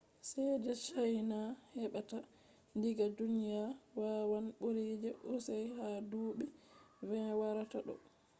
ceede chaina heɓata diga duniya wawan ɓura je us ha duuɓi 20 warata ɗo